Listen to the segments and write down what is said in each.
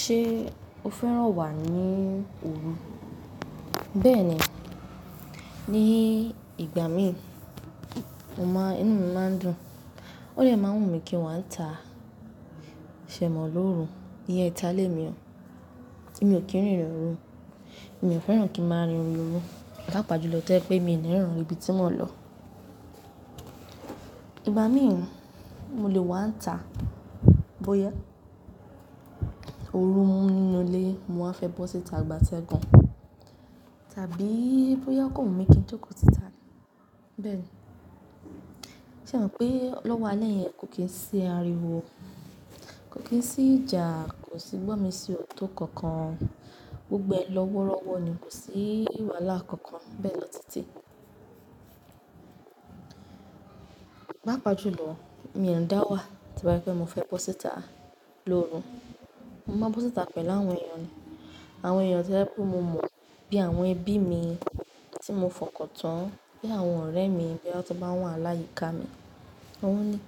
Ṣé o fẹ́ràn wà ní òru? Bẹ́ẹ̀ni, ní ìgbà mi inú mi máa ń dùn, ó dè máa wùn mí kí n wá ita. Ṣ'è mọ́ lóru, iye ìta lé mi o, kí n rìn ní òru, èmi ò fẹ́ràn kí n máa rìn òru, bá pà júlọ tẹ́ pé mi ò ní rìn ibi tí mò ń lọ. Ìgbà míì mo lè wá ta bóyá òru mú inú ilé mo a fẹ́ bọ́ síta gbatẹ́gùn, tàbí bóyá kò wùn mí kí n jókòó síta. Bẹ́ẹ̀ni, ṣé o mọ̀ pé lọ́wọ́ alẹ́ yẹn kò kí n sí ariwo, kò kí n sí ìjà, kò sí gbọ́mi-sí-òtó kankan, gbogbo ẹ̀ lọ́ wọ́rọ́wọ́ ni, kò sí ìwálá kankan bẹ́ẹ̀ lọ títí. Pàápàá júlọ èmi èé dáwà torí pé mo fẹ́ bọ́ síta lóru, mo máa bọ́ síta pẹ̀lú àwọn èèyàn ni, àwọn èèyàn tó jẹ́ pé mo mọ̀ bí àwọn ẹbí mi tí mo fọkàn tán, bí àwọn ọ̀rẹ́ mi bí wọ́n bá wà láyìká mi. Ọ̀ wọ́n ní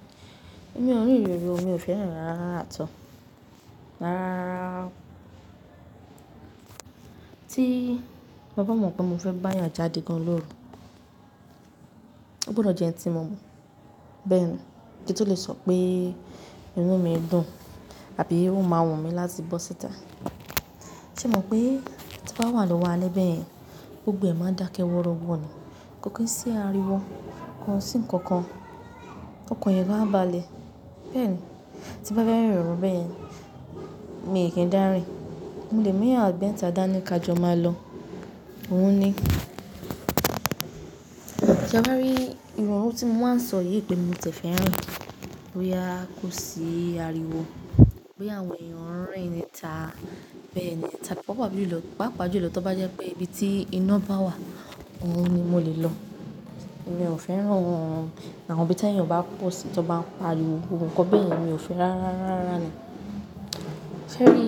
èmi ò ní rìn òru, èmi ò fẹ́ràn rárá rárá àtọ́ọ̀, rárá rárá tí mo bá mọ̀ pé mo fẹ́ bá èèyàn jáde gan-an lóru, ó gbọ́dọ̀ jẹ́ ẹni tí mo mọ̀. Bẹ́ẹ̀ ni, kí n tó lè sọ pé inú mi dùn àbí ó máa wùn mí láti bọ́ síta. Sẹ́ o mọ̀ pé tí wà lọ́wọ́ alé báyẹn gbogbo ẹ̀ máa ń dákẹ́ wọ́rọ́wọ́ ni, kò kí n sí ariwo, kò sí nǹkan kan, ọkàn yẹn gan á baálẹ̀. Bẹ́ẹ̀ ni, tí bá fẹ́ rìn òru bẹ́ẹ̀ yẹn, èmi kì í dárìn, mo lè mú èèyàn mẹ́ta dá ní ká jọ máa lọ. Ọ̀ wun ni ṣé wà bá rí ìrọ̀rùn tí mo máa ń sọ yìí pé mo tẹ̀ fẹ́ rìn, bóyá kò sí ariwo, bóyá àwọn èèyàn ń rìn ní ta, bẹ́ẹ̀ ni, tàbí bó bá wù mí ló lọ, bá pà júlọ tí ó bá jẹ́ pé ibi tí iná bá wà òhun ni mo lè lọ. Èmi ò fẹ́ràn àwọn ibi tí àwọn èèyàn bá ń pa ríru ohun kan bẹ́ẹ̀ yẹn, èmi ò fẹ́ rárá rárá ni. Ṣé rí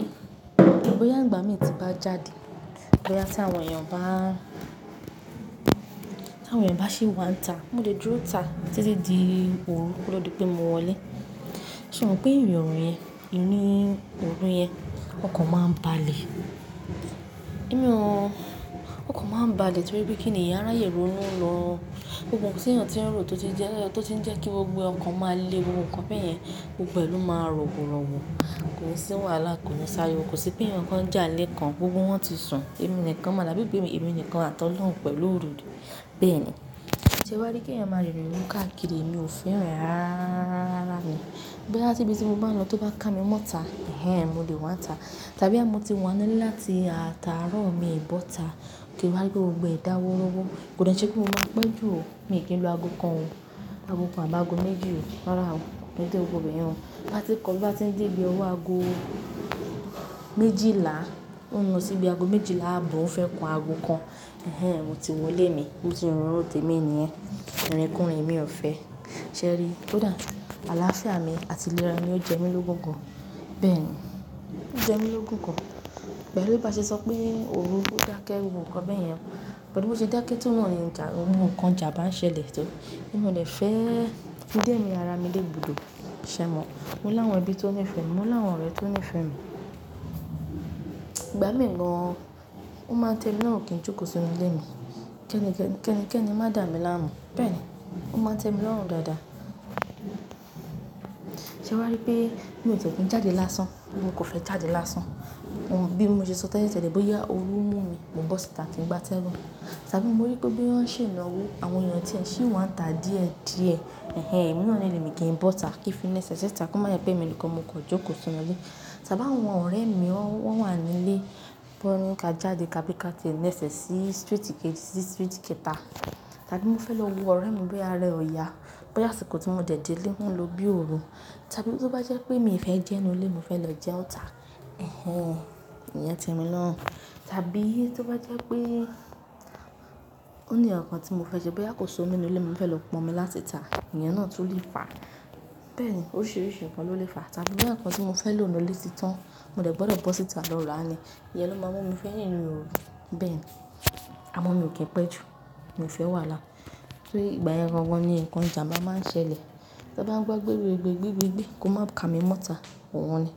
i, bóyá ìgbà mi tí bá jáde, bóyá tí àwọn èèyàn bá ṣì wà níta, mo lè dúró ta títí di òru kó tó di pé mo wọlé. Ṣé o mọ̀ pé ìrìn òru yẹn, irú òru yẹn ọkàn máa ń balè. Èmi ọ, ọkàn máa ń baálẹ̀ torí pé kí ni èèyàn á ráyè ronú lọ, gbogbo ǹkan tí èèyàn tí ń rò ó tó ti jẹ́ kí gbogbo ọkàn máa le ohun kan bẹ́ẹ̀ yẹn, gbogbo ẹ̀ ló máa rọ̀ wọ́rọ́wọ́, kò sí ìwàlá, kò ní s'ariwo, kò sí pé ẹni kan jálè kan, gbogbo wọn ti sùn, èmi nìkan màá dàbí pé èmi nìkan àtọ̀ lọ́hùn pẹ̀lú òru. Bẹ́ẹ̀ ni, ṣé wà rí kí èèyàn máa rìn òru káàkiri èmi ò fẹ́ ràn án rárá rárá ni. Bóyá tí ibi tí mo bá ń lọ tí ó bá ká mi mọ́ ta, hẹ́h ẹ́n mo lè wá ta tàbí bóyá mo ti wà nílé láti àtàárọ̀ mi bọ́ ta kí wà bá rí pé gbogbo ẹ̀ dárọ̀ wọ́rọ́wọ́, kò dára ṣe kó máa pẹ́ jù ò, èmi kì í lo ago kan ò, ago kan àbí ago méjì ò, rárá o, mi ò dé gbogbo bẹ́ẹ̀ yẹn. Bá ti kọ, bá ti dé ibi ọwọ́ ago méjìlá, ó ń lọ síbi ago méjìlá ààbọ̀, ó ń fẹ́ kan ago kan, hẹ́h ẹ́n èmi ti wọlé ni, bó ti rùn róòtì mi ni ẹ́, ìrìnkurìn mi ò fẹ́. Ṣé rí i, kódà àlàáfíà mi àti ìlera ni ó jẹ́ mi lógún gan. Bẹ́ẹ̀ ni, ó jẹ́ mi lógún gan. Pẹ̀lu bá ṣe sọ pé òru ó dákẹ́ ohun kan bẹ́ẹ̀ yẹn, pẹ̀lú bó ti dákẹ́ tó wọ́n ni ń jà, ohun kan ìjànbá ṣẹlẹ̀ tó, èmi ò dẹ̀ fẹ́, ó dẹ́ mí ara mi ní ègbodò, ṣé mọ̀? Mo láwọn ẹbí tó ní ìfẹ́ mi, mo láwọn ọ̀rẹ́ tó ní ìfẹ́ mi. Ìgbà mìíràn gan ó máa ń tẹ mi lọ́wọ́ kí n jókòó sínú ilé mi, kẹ́ni kẹ́ni má dà mí láàmú. Bẹ́ẹ̀ni, ó máa n témi lọ́rùn dáadáa, sé ẹ wáá ri pé mi ò tiẹ̀ kín jáde lásán, pé mo kàn fẹ́ jáde lásán, bí mo se sọ tẹ́lẹ̀ tẹ́lẹ̀ bóyá òru mú mi, mo bọ́ síta kí n gbatẹ́dùn, tàbí mo rí pé bóyá wọ́n ṣe ìnáwó, àwọn èèyàn tí ẹ ṣì ń wá ta díẹ̀ díẹ̀, hẹ́h ẹ́n hẹ́h ẹ́n èmi máa ń nílé mi kí n bọ́ ta kí fi nẹsẹ̀ ṣíta kó má yà pé èmi nìkan mo kò jókòó sínú ilé. Tàbí bá àwọn ọ̀rẹ́ mi wọ́n wà nílé, wọ́n ní ká jáde ká bí ká ti níṣẹ́ sí street kejì sí kẹta tàbí mo fẹ́ lọ wo ọ̀rẹ́ mi bóyá rẹ ọ̀yà, bóyá àsìkò tí mo délé ó n lo bí òru tàbí bó bá jẹ́ pé mi ò fẹ́ jẹun nílé, mo fẹ́ lọ jẹ ọ́ ta, hẹ́h ẹ́n hẹ́h ẹ́n ìyẹn tẹ́mi lọ́rùn. Tàbí tí ó bá jẹ́ pé ó ní ọ̀kan tí mo fẹ́ ṣe bóyá kò sí omi nínú ilé mi, mo fẹ́ lọ pọn omi láti ta, èèyàn náà tún le fa. Bẹ́ẹ̀ ni, oríṣiríṣi nǹkan ló lè fa tàbí bí ó jẹ́ nǹkan tí mo fẹ́ lò nínú ilé ti tán, mo lè gbọ́dọ̀ bọ́ síta lọ là ni, ìyẹn ló máa mú mi fẹ́ rìn òru. Bẹ́ẹ̀ ni, àmọ́ mi ò kí ń pẹ́ jù, mi ò fẹ́ wàhálà torí ìgbà yẹn gangan ni ǹkan jà bá máa ń ṣẹlẹ̀. To bá gbọ́ gbé gbé gbé gbé gbé gbé kó má ká mi mọ́ ta, òhun ni.